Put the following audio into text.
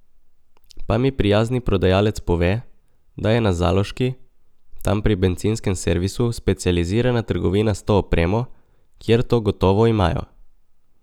Pa mi prijazni prodajalec pove, da je na Zaloški, tam pri bencinskem servisu specializirana trgovina s to opremo, kjer to gotovo imajo.